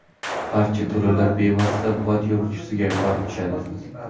Barcha to‘lovlar bevosita bot yaratuvchisiga borib tushadi.